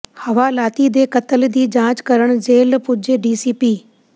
ਹਵਾਲਾਤੀ ਦੇ ਕਤਲ ਦੀ ਜਾਂਚ ਕਰਨ ਜੇਲ੍ਹ ਪੁੱਜੇ ਡੀਸੀਪੀ